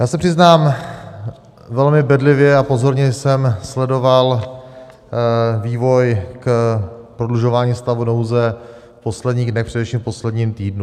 Já se přiznám, velmi bedlivě a pozorně jsem sledoval vývoj k prodlužování stavu nouze v posledních dnech, především v posledním týdnu.